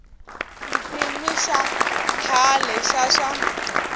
xikimi xa khale xa swa